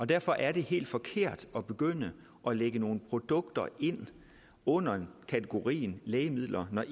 derfor er det helt forkert at begynde at lægge nogle produkter ind under kategorien lægemidler når